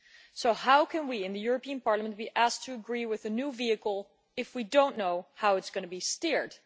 So how can we in the European Parliament be asked to agree with the new vehicle if we do not know how it is going to be steered?